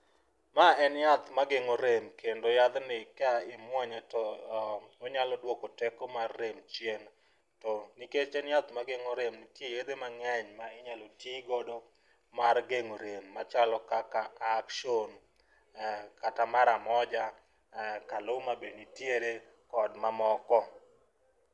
Ma en yath ma geng'o rem kendo yadhni ka imuonye to onyalo dwoko teko mar rem chien. To nikech en yath mageng'o rem, nitie yedhe mang'eny ma inyalo tigodo mar gend'o rem machalo kaka Action, kata Mara Moja, Kaluma be nitiere kod mamoko.